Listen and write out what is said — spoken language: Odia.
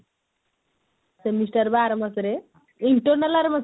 semester ବା ଆର ମାସ ରେ internal ଆର ମାସ ରେ